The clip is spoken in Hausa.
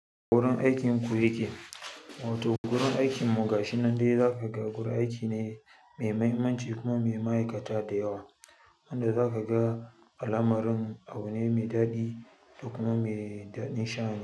Wurin aikin ku yake? Wato wurin aikin mu ga shi nan dai za ka ga guri aiki ne mai mahimmanci kuma mai ma'aikata da yawa, inda za ka ga alamarun abu ne mai daɗi da kuma daɗin sha.